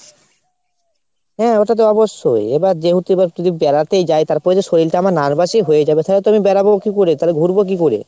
হ্যাঁ ওটা তো অবশ্যই। এবার যেহেতু এবার যদি বেড়াতেই যাই তাহলে তারপরে যদি শরীরটা আমার nervous ই হয়ে যাবে তাহলে তো আমি বেড়াবো কি করে ঘুরবো কি করে ?